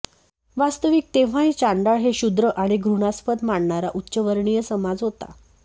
वास्तविक तेव्हाही चांडाळ हे क्षुद्र आणि घृणास्पद मानणारा उच्चवर्णीय समाज होता